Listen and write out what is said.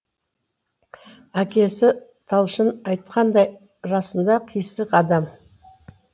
әкесі талшын айтқандай расында қисық адам